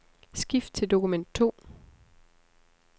Skift til dokument to.